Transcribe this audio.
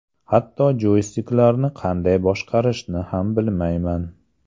Hatto joystiklarni qanday boshqarishni ham bilmayman.